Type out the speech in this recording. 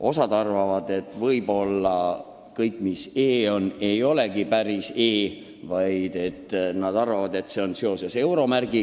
Osa aga arvab, et kõik, mis on e-, ei olegi e-, vaid see tähendab hoopis euro märki.